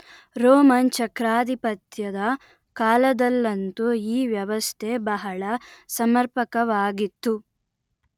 Roman ಚಕ್ರಾಧಿಪತ್ಯದ ಕಾಲದಲ್ಲಂತೂ ಈ ವ್ಯವಸ್ಥೆ ಬಹಳ ಸಮರ್ಪಕವಾಗಿತ್ತು